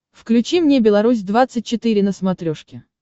включи мне беларусь двадцать четыре на смотрешке